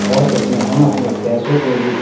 और इसमें हम अपने पैसों को भी --